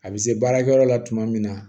A bɛ se baarakɛyɔrɔ la tuma min na